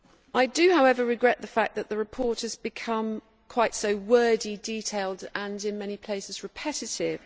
I do, however, regret the fact that the report has become quite so wordy, detailed and, in many places, repetitive.